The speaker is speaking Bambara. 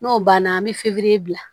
N'o banna an bɛ fefe bila